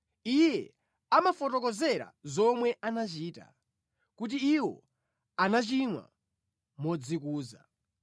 Iye amawafotokozera zomwe anachita, kuti iwo anachimwa modzikuza.